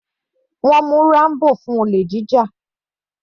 Wọ́n mú Rambo fún olè jíjà.